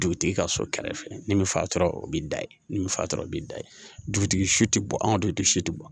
Dugutigi ka so kɛrɛfɛ nin bɛ fatɔ o b'i da ye ni fatura b'i da ye dugutigi si tɛ bɔ anw de si tɛ bɔ